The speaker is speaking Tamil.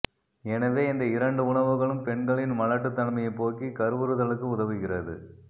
எனவே இந்த இரண்டு உணவுகளும் பெண்களின் மலட்டுத்தன்மையை போக்கி கருவுறுதலுக்கு உதவுகிறது